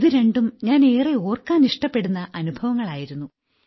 ഇത് രണ്ടും ഞാൻ ഏറെ ഓർക്കാനിഷ്ടപ്പെടുന്ന അനുഭവങ്ങളായിരുന്നു